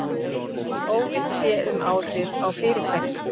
Óvíst sé um áhrif á fyrirtæki